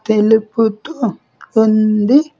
తెలుపుతూ ఉంది.